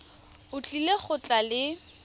o tlile go tla le